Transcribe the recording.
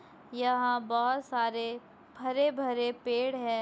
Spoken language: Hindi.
यहाँ बहोत सारे हरे-भरे पेड़ है।